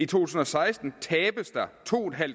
tusind og seksten tabes der to